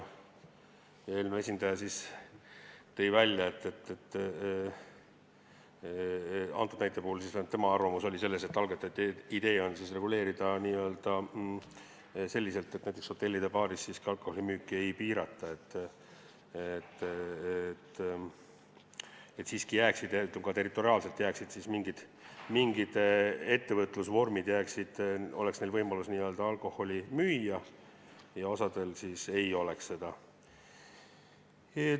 Eelnõu esindaja tõi selle näite puhul välja, et algatajate idee on reguleerida selliselt, et näiteks hotellide baarides alkoholimüüki ei piirata, et siiski jääksid, eriti ka territoriaalselt, mingid ettevõtlusvormid, mis võimaldaksid alkoholi müüa, aga osal ei oleks seda võimalust.